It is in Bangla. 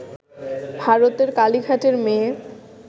ভারতের কালিঘাটের মেয়ে